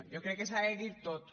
jo crec que s’ha de dir tot